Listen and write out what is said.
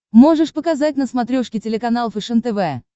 можешь показать на смотрешке телеканал фэшен тв